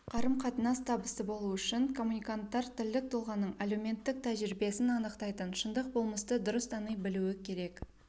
қарым-қатынас табысты болу үшін коммуниканттар тілдік тұлғаның әлеуметтік тәжірибесін анықтайтын шындық болмысты дұрыс тани білуі керек